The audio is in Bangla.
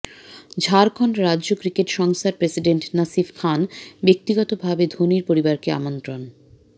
ঝাড়খণ্ড রাজ্য ক্রিকেট সংস্থার প্রেসিডেন্ট নাফিস খান ব্যক্তিগত ভাবে ধোনির পরিবারকে আমন্ত্রণ